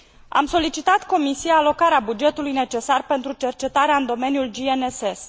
Am solicitat Comisiei alocarea bugetului necesar pentru cercetarea în domeniul GNSS.